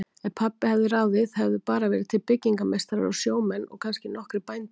Ef pabbi hefði ráðið hefðu bara verið til byggingameistarar og sjómenn og kannski nokkrir bændur.